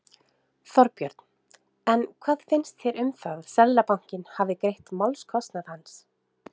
Þorbjörn: En hvað finnst þér um það að Seðlabankinn hafi greidd málskostnaðinn hans?